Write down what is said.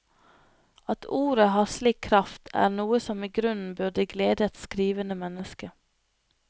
At ordet har slik kraft, er noe som i grunn burde glede et skrivende menneske.